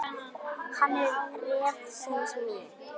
Hann er refsing mín.